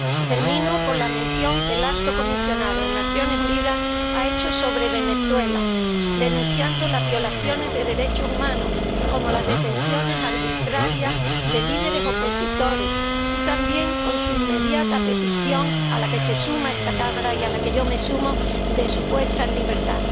Termino con la mención que el alto comisionado de las Naciones Unidas ha hecho sobre Venezuela, denunciando las violaciones de los derechos humanos —como las detenciones arbitrarias de líderes opositores— y con su inmediata petición, a la que se suma esta Cámara y a la que yo me sumo, de su puesta en libertad.